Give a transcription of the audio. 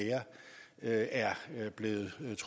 med